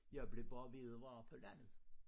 Jeg blev bare ved at være på landet